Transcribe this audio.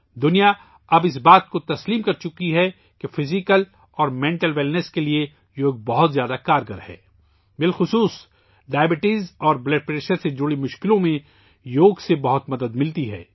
دنیا نے اب تسلیم کر لیا ہے کہ یوگا جسمانی اور ذہنی تندرستی کے لئے بہت موثر ہے، خاص طور پر ذیابیطس اور بلڈ پریشر سے متعلق مسائل میں یوگا بہت مدد کرتا ہے